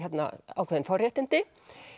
ákveðin forréttindi